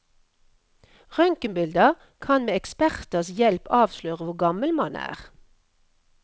Røntgenbilder kan med eksperters hjelp avsløre hvor gammel man er.